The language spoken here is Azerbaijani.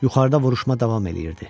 Yuxarıda vuruşma davam eləyirdi.